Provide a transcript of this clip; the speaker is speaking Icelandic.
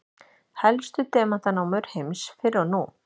Helstu demantanámur heims fyrr og nú.